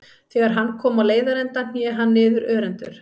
Þegar hann kom á leiðarenda hné hann niður örendur.